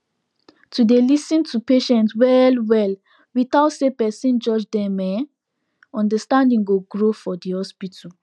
to dey lis ten to patient well well without say person judge dem en understanding go grow for the hospital